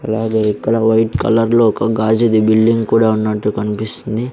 అలాగే ఇక్కడ వైట్ కలర్లో ఒక గాజుది బిల్డింగ్ కూడా ఉన్నట్టు కనిపిస్తుంది.